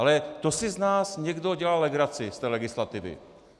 Ale to si z nás někdo dělá legraci z té legislativy.